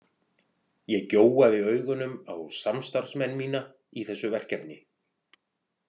Ég gjóaði augunum á samstarfsmenn mína í þessu verkefni.